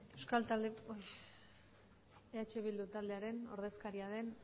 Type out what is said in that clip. eh bildu taldearen ordezkaria den